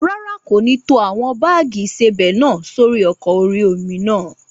Rárá, kò ní tó àwọn báàgì ìsebẹ̀ náà sórí ọkọ̀ orí-omi náà